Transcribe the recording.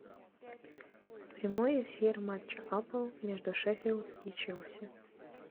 прямой эфир матча апл между шеффилд и челси